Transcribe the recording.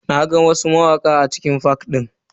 Na ga wasu mawaka a cikin fak din.